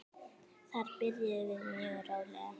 Þar byrjum við mjög rólega.